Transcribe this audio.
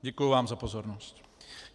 Děkuji vám za pozornost.